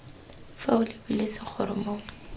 fa o lebile segoro mo